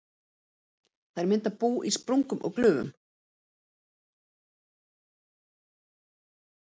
Þær mynda bú í sprungum og glufum.